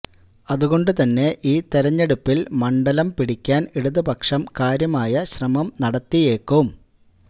അതുകൊണ്ട് തന്നെ ഈ തെരഞ്ഞെടുപ്പിൽ മണ്ഡലം പിടിക്കാൻ ഇടതുപക്ഷം കാര്യമായ ശ്രമം നടത്തിയേക്കും